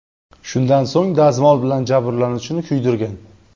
Shundan so‘ng, dazmol bilan jabrlanuvchini kuydirgan.